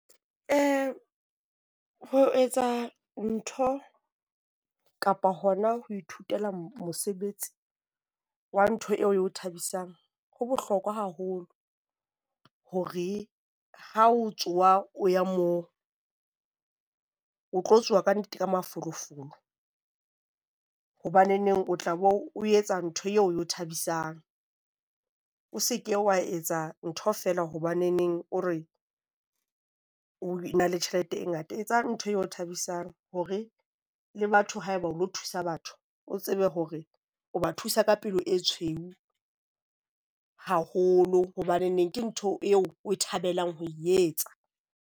Ho etsa ntho kapa hona ho ithutela mosebetsi wa ntho eo eo thabisang ho bohlokwa haholo. Hore ha o tsoha o ya moo o tlo tsoha kannete ka mafolofolo, hobaneneng o tla bo o etsa ntho eo eo thabisang. O se ke wa etsa ntho feela hobaneneng o re e na le tjhelete e ngata. Etsa ntho e o thabisang hore le batho, haeba o lo thusa batho, o tsebe hore o ba thusa ka pelo e tshweu haholo hobaneneng ke ntho eo o e thabelang ho e etsa.